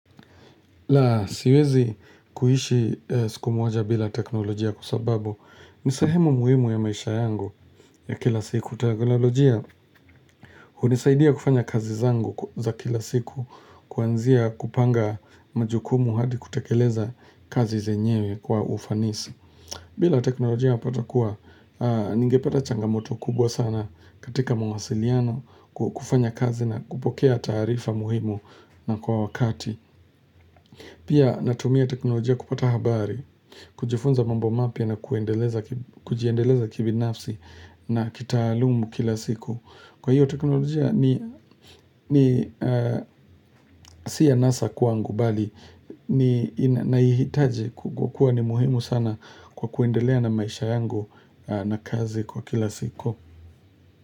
La siwezi kuishi siku moja bila teknolojia kwa sababu ni sahemu muhimu ya maisha yangu ya kila siku teknolojia hunisaidia kufanya kazi zangu za kila siku kuanzia kupanga majukumu hadi kutekeleza kazi zenyewe kwa ufanisi bila teknolojia unapata kuwa ningepata changamoto kubwa sana katika mawasiliano kufanya kazi na kupokea taarifa muhimu na kwa wakati Pia natumia teknolojia kupata habari, kujifunza mambo mapya na kuendeleza kibinafsi na kitaalumu kila siku. Kwa hiyo teknolojia ni si anasa kwangu bali, naihitaji kwa kuwa ni muhimu sana kwa kuendelea na maisha yangu na kazi kwa kila siku.